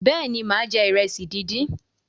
béèni má je iresi dín dín.